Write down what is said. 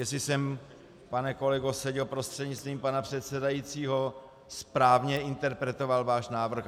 Jestli jsem, pane kolego Seďo prostřednictvím pana předsedajícího, správně interpretoval náš návrh?